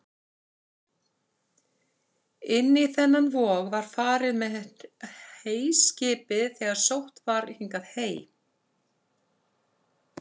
Inn í þennan vog var farið með heyskipið þegar sótt var hingað hey.